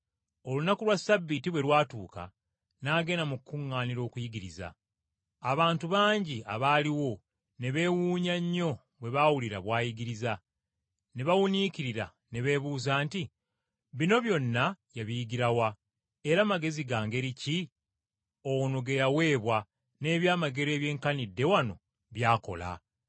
Olunaku lwa Ssabbiiti bwe lwatuuka n’agenda mu kkuŋŋaaniro okuyigiriza, abantu bangi abaaliwo ne beewuunya nnyo bwe baawulira bw’ayigiriza, ne bawuniikirira ne beebuuza nti, “Bino byonna yabiyigira wa era magezi ga ngeri ki ono ge yaweebwa n’eby’amagero ebyenkanidde wano by’akola?”